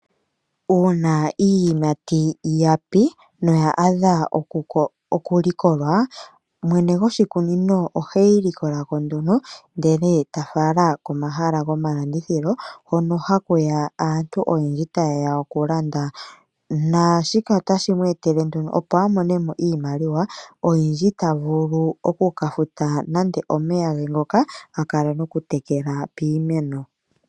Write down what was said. Uuna iiyimati yapi noya adha okulikolwa, mwene goshikunino oheyi likolako nduno ndele tafala komahala gomalandithilo hono hakuya aantu oyendji tayeya okulanda. Naashika otashi ku etele nduno opo amonemo iimaliwa oyindji tavulu okukafuta nande omeya gengoka hakala nokutekela piimeno.